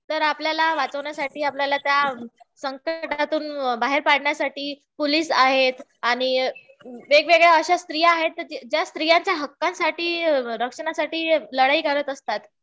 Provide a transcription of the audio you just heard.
तर आपल्याला वाचवण्यासाठी आपल्याला त्या संकटातून बाहेर काढण्यासाठी पोलीस आहेत. आणि वेगवेगळ्या अशा स्त्रिया आहेत, ज्या स्त्रियांच्या हक्कासाठी, रक्षणासाठी लढाई करत असतात.